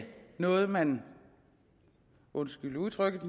noget man undskyld udtrykket